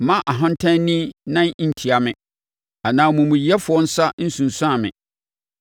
Mma ɔhantanni nan ntia me anaa omumuyɛfoɔ nsa nnsunsum me.